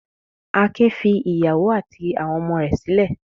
Akin fi ìyàwó àti àwọn ọmọ rẹ̀ sílẹ̀.